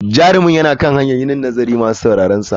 Jarumin yana kan hanyar yin nazarin masu sauraronsa.